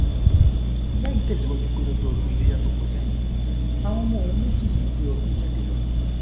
ìyá yìí tẹsíwájú pé lọjọ ọdún iléyà tó kọjá yìí àwọn ọmọ òun méjì yìí gbé ọdún jáde lọ